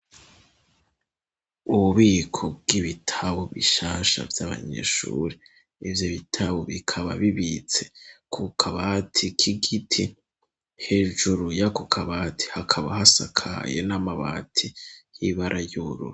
Ububiko bw'ibitabo bishasha vy'abanyeshure, ivyo bitabo bikaba bibitse ku kabati k'igiti, hejuru yako kabati hakaba hasakaye n'amabati y'ibara ry'ubururu.